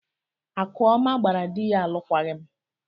Akụọma gbara di ya alụkwaghịm.